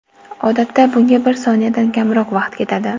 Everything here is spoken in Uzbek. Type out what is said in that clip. Odatda, bunga bir soniyadan kamroq vaqt ketadi.